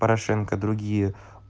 порошенко другие